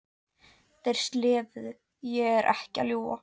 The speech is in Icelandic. Þeir slefuðu, ég er ekki að ljúga!